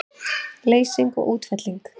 Leysing og útfelling